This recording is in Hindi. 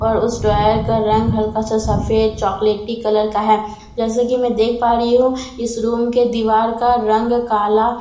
और उसे ड्रावर का रंग हल्का सा सफेद चॉकलेटी कलर का है जैसे कि मैं देख पा रही हूं इस रूम के दीवार का रंग काला और हा--